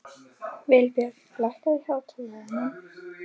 Vilbjörn, lækkaðu í hátalaranum.